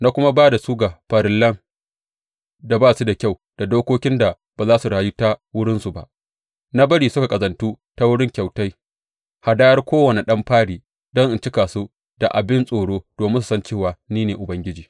Na kuma ba da su ga farillan da ba su da kyau da dokokin da ba za su rayu ta wurinsu ba; na bari suka ƙazantu ta wurin kyautai, hadayar kowane ɗan fari don in cika su da abin tsoro domin su san cewa ni ne Ubangiji.’